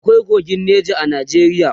akwai kogin Nija a Najeriya